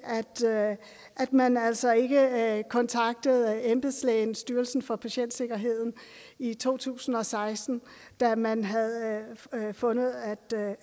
til at man altså ikke kontaktede embedslægen styrelsen for patientsikkerhed i to tusind og seksten da man havde fundet